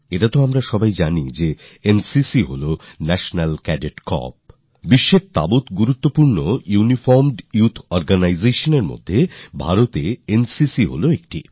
এতা তো আমাদের সকলেরই জানা NCCঅর্থাৎ নেশনালক্যাডেটক্রপস বিশ্বের সবচেয়ে বড় UniformedYouthOrganisationএ ভারতের এনসিসি একনম্বরে